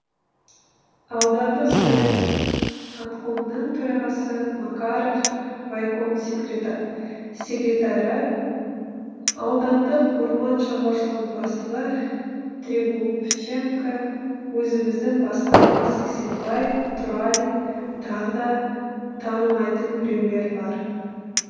аудандық совет аткомының төрағасы макаров райкомның секретары аудандық орман шаруашылығының бастығы тригубченко өзіміздің басқарма сексенбай тұралин тағы да танымайтын біреулер бар